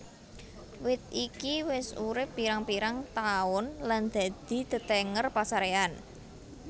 Wit iki wis urip pirang pirang taun lan dadi tetenger pasaréyan